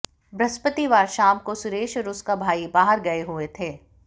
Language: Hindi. बृहस्पतिवार शाम को सुरेश और उसका भाई बाहर गए हुए थे